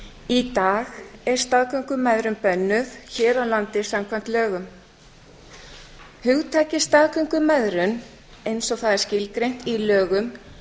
í dag er staðgöngumæðrun bönnuð hér á landi samkvæmt lögum hugtakið staðgöngumæðrun eins og það er skilgreint í lögum